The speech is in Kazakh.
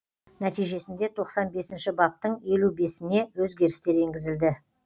нәтижесінде тоқсан бесінші баптың елу бесіне өзгерістер енгізілді